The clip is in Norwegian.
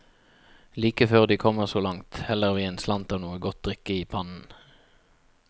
Like før de kommer så langt, heller vi en slant av noe godt drikke i pannen.